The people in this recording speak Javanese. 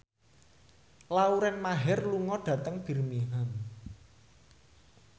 Lauren Maher lunga dhateng Birmingham